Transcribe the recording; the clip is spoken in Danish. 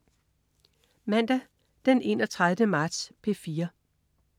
Mandag den 31. marts - P4: